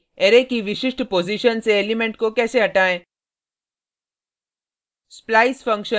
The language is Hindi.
अब देखते हैं कि अरै की विशिष्ट पॉजिशन से एलिमेंट को कैसे हटाएँ